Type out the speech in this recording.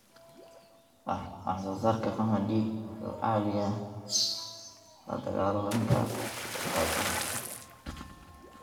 Waxsoosaarka qamadi wuxuu caawiyaa la dagaalanka gaajada.